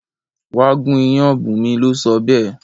Wá gún iyán! Bunmi lo sọ béè